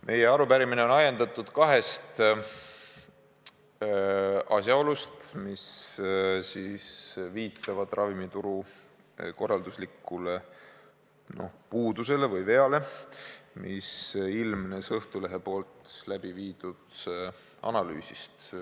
Meie arupärimine on ajendatud kahest asjaolust, mis viitavad ravimituru korralduslikule puudusele või veale, mis ilmnes Õhtulehe tehtud analüüsist.